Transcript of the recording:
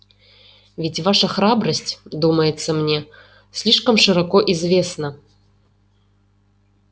ведь ваша храбрость думается мне слишком широко известна